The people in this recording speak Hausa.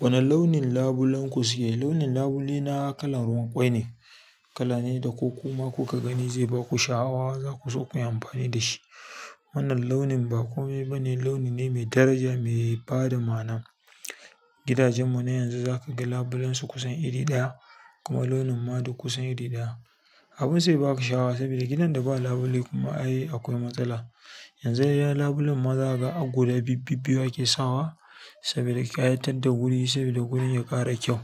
Wane launin labulen ku siya? Launin labule na kalan ruwan kwai ne. Kala ne da ko kuma kuka gani zai ba ku sha'awa za ku so ku yi amfani da shi. Wannan launin ba kome ba ne, launi ne mai daraja, mai bada ma'ana. Gidajen mu na yanzu za ka ga labulansu kusan iri ɗaya kuma launin ma duk kusan iri ɗaya. Abin sai ba ku sha'awa sabida gidan da ba labule kuma ai akwai matsala. Yanzu iya labulen ma za ga a guda bibbi biyu ake sawa sabida ƙyatar da guri, sabida gurin ya ƙara kyau.